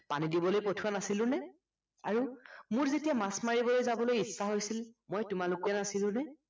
পানী দিবলৈ পঠোৱা নাছিলোনে আৰু মোৰ যেতিয়া মাছ মাৰিবলৈ যাবলৈ ইচ্ছা হৈছিল মই নাছিলোনে